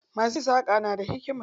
Masu yin saƙa na da hikima.